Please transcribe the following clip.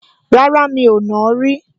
Rárá, mi ò nàá rí